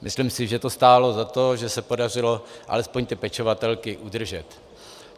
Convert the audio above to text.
Myslím si, že to stálo za to, že se podařilo alespoň ty pečovatelky udržet.